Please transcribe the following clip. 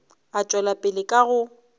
a tšwela pele ka go